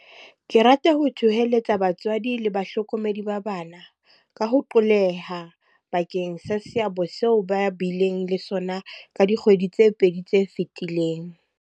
Ke rata ho thoholetsa batswadi le bahlokomedi ba bana, ka ho qolleha, bakeng sa seabo seo ba bileng le sona ka dikgwedi tse pedi tse fetileng.